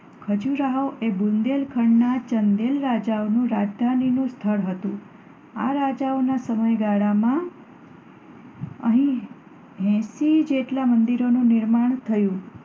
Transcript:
ખજૂરાહો એ બુંદેલ ખંડના ચંદેલ રાજાઓનું રાજધાનીનું સ્થળ હતું. આ રાજાઓના સમયગાળામાં અહીં એંશી જેટલા મંદિરોનું નિર્માણ થયું.